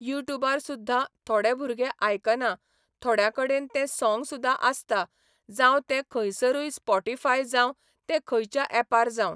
you ट्यूबार सुद्दा थोडे भुरगे आयकना थोड्यां कडेन ते सोंग सुदा आसता जावं ते खंयसरूय स्पोटीफाय जावं ते खंयच्या एपार जावं